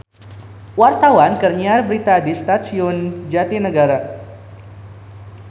Wartawan keur nyiar berita di Stasiun Jatinegara